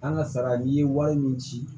An ka sara n'i ye wari min ci